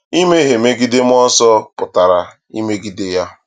Imehie megide mmụọ nsọ pụtara imegide ya.